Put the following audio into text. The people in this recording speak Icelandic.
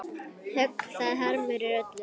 Högg það harmur er öllum.